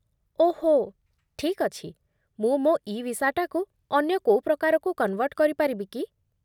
ଓହୋ, ଠିକ୍ ଅଛି । ମୁଁ ମୋ ଇ ଭିସାଟାକୁ ଅନ୍ୟ କୋଉ ପ୍ରକାରକୁ କନ୍‌ଭର୍ଟ କରିପାରିବି କି?